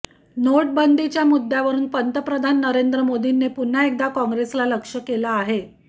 नोटबंदीच्या मुद्द्यावरून पंतप्रधान नरेंद्र मोदींनी पुन्हा एकदा काँग्रेसला लक्ष्य केलं आहे